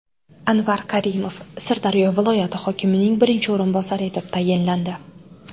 Anvar Karimov Sirdaryo viloyati hokimining birinchi o‘rinbosari etib tayinlandi.